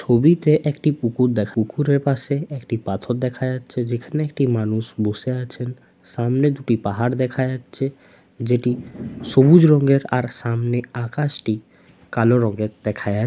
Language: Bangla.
ছবিতে একটি পুকুর দেখো পুকুরের পাশে একটি পাথর দেখা যাচ্ছে যেখানে একটি মানুষ বসে আছেন সামনে দুটি পাহাড় দেখা যাচ্ছে যে টি সবুজ রঙের আর সামনে আকাশটি কালো রঙের দেখা যা--